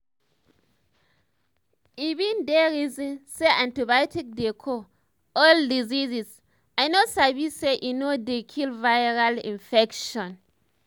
i been dey reason say antibiotics dey cure all dieases i no sabi say e no dey kill viral infections